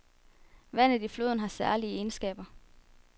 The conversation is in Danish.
Vandet i floden har særlige egenskaber.